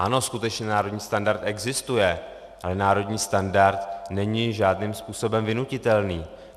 Ano, skutečně národní standard existuje, ale národní standard není žádným způsobem vynutitelný.